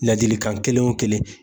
Laadilikan kelen o kelen